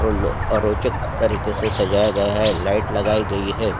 रोलो आरोचक तरीके से सजाया गया है लाइट लगाई गई है।